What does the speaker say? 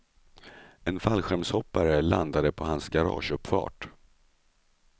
En fallskärmshoppare landade på hans garageuppfart.